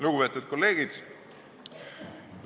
Lugupeetud kolleegid!